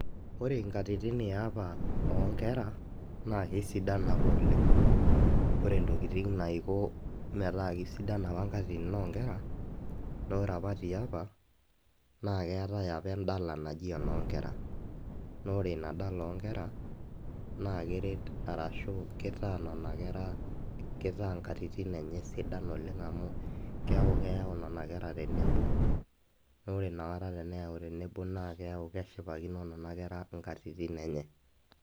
Wore inkatitin eapa oo nkera, naa kesidan apa oleng'. Wore intokitin naiko metaa kaisidan apa inkatitin oonkera, naa wore apa tiapa, naa keetae apa endala naji enoonkera, naa wore inia dala oonkera, naa keret arashu kitaa niana kera kitaa inkatitin enye sidan oleng' amu keaku keyau niana kera tenebo. Naa wore iniakata teneyau tenebo naa keeku keshipakino niana kera inkatitin enye.